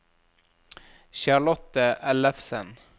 Charlotte Ellefsen